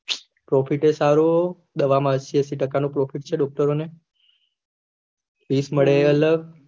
profit એ સારું દવા એ મળશે એશી ટકા નું પ્રોફિટ ને ડોકટરો ને ફીસ મળે એ અલગ